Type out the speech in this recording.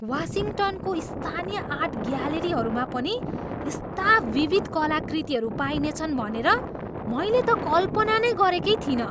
वासिङ्टनको स्थानीय आर्ट ग्यालरीहरूमा पनि यस्ता विविध कलाकृतिहरू पाइनेछन् भनेर मैले त कल्पना नै गरेकै थिइनँ।